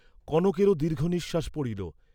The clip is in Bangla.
কনকেরও দীর্ঘ নিঃশ্বাস পড়িল।